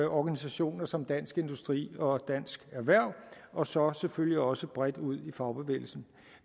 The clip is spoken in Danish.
organisationer som dansk industri og dansk erhverv og så selvfølgelig også bredt ud i fagbevægelsen